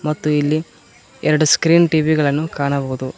ಮತ್ತು ಇಲ್ಲಿ ಎರಡು ಸ್ಕ್ರೀನ್ ಟಿ_ವಿ ಗಳನ್ನು ಕಾಣಬಹುದು.